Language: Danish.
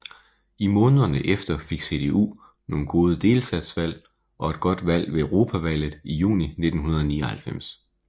I månederne efter fik CDU nogle gode delstatsvalg og et godt valg ved Europavalget i juni 1999